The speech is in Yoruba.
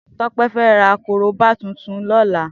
Tope fè rà kóróbá tùtùn lọ̀lá